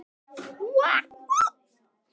Sigrún Agnes.